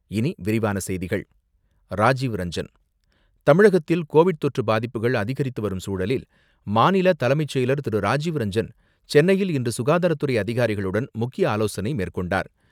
இனி விரிவான செய்திகள், ராஜீவ்ரஞ்சன்; தமிழகத்தில் கோவிட் தொற்று பாதிப்புகள் அதிகரித்துவரும் சூழலில், மாநில தலைமைச் செயலர் திரு.ராஜீவ்ரஞ்சன், சென்னையில் இன்று சுகாதாரத்துறை அதிகாரிகளுடன் முக்கிய ஆலோசனை மேற்கொண்டார்.